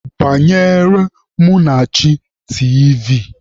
Gbanyere Munachi tiivi!